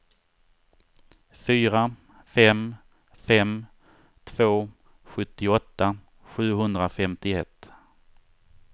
fyra fem fem två sjuttioåtta sjuhundrafemtioett